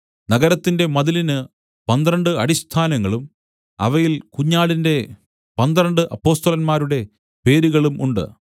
നഗരത്തിന്റെ മതിലിന് പന്ത്രണ്ട് അടിസ്ഥാനങ്ങളും അവയിൽ കുഞ്ഞാടിന്റെ പന്ത്രണ്ട് അപ്പൊസ്തലന്മാരുടെ പേരുകളും ഉണ്ട്